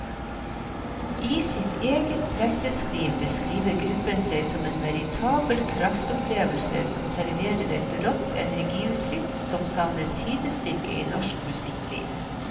I sitt eget presseskriv beskriver gruppen seg som en veritabel kraftopplevelse som serverer et rått energiutrykk som savner sidestykke i norsk musikkliv.